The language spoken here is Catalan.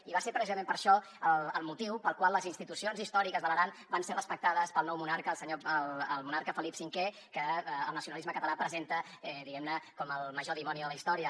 i va ser precisament aquest el motiu pel qual les institucions històriques de l’aran van ser respectades pel nou monarca el monarca felip v que el nacionalisme català presenta diguem ne com el major dimoni de la història